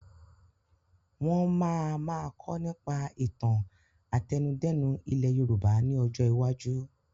Wọn máa ma kọ́ nípa ìtàn àtẹnudẹ́nu ilẹ̀ Yorùbá ni ọjọ́ iwájú: